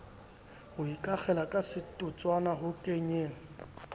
ho ikakgela kasetotswana ho kenyeng